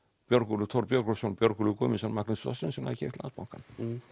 Björgólfur Thor Björgólfur Thor Björgólfur Guðmundsson Magnús Sveinsson hafi keypt Landsbankann